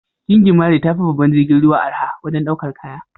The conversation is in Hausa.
Gingimari tafi babban jirgin ruwa arha wajen daukar kaya.